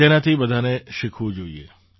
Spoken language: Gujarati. તેનાથી બધાએ શીખવું જોઈએ